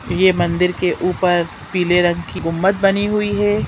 ये मंदिर के ऊपर पीले रंग की गुमद बनी हुई है।